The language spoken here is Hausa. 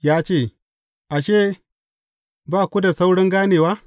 Ya ce, Ashe, ba ku da saurin ganewa?